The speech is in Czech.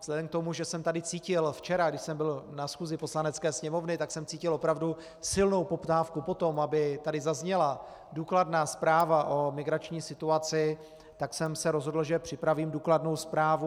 Vzhledem k tomu, že jsem tady cítil včera, když jsem byl na schůzi Poslanecké sněmovny, tak jsem cítil opravdu silnou poptávku po tom, aby tady zazněla důkladná zpráva o migrační situaci, tak jsem se rozhodl, že připravím důkladnou zprávu.